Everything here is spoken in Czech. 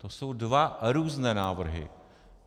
To jsou dva různé návrhy.